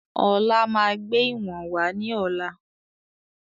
Ọlá máa gbé ìwọ̀n wá ní ọ̀la.